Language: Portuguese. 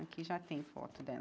Aqui já tem foto dela.